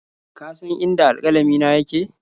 Ka san inda alƙalamina yake?